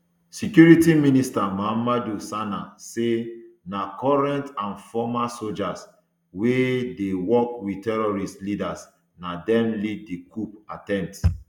security minister mahamadou sana say na current and former sojas wey dey work wit terrorist leaders na dem lead di coup attempt